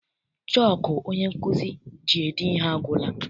Chọku onye nkụzi ji ede ihe agwụla.